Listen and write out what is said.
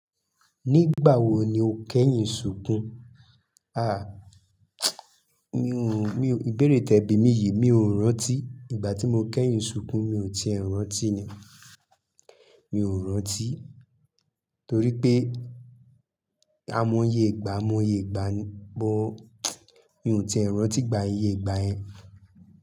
Nígbà wo ni o kẹ́yìn ṣùkú? A! Mi ò, mi ò, ìbéèrè tẹ̀ bí mi yìí, mi ò rántí. Ìgbà tí mo kẹ́yìn ṣùnkún, mi ò ti è rántí ni. Mi ò rántí torí pé ai mọyè ìgbà, ai mọyè ìgbà ni, bọ mi ò ti è rántí ìgbà íye ìgbà yen.